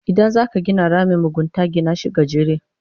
Idan zaka gina ramin mugunta, gina shi gajere.